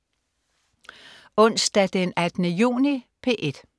Onsdag den 18. juni - P1: